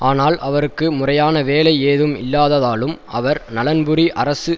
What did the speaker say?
ஆனால் அவருக்கு முறையான வேலை ஏதும் இல்லாததாலும் அவர் நலன்புரி அரசு